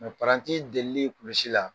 Paranti delilen kulusi la.